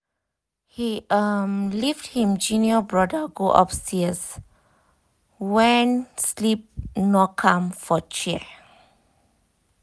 he um lift him junior brother go upstairs when sleep knock am for chair